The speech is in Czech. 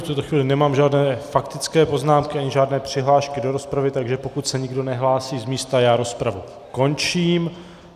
V tuto chvíli nemám žádné faktické poznámky ani žádné přihlášky do rozpravy, takže pokud se nikdo nehlásí z místa, rozpravu končím.